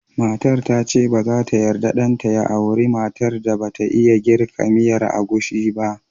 Matar ta ce ba za yarda ɗan ta ya aura matar da ba ta iya jirka miyar agushi ba